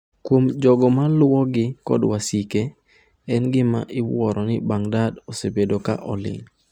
Kuom jogo ma luwogi kod wasike, en gima iwuoro ni Baghdadi osebedo ka oling’.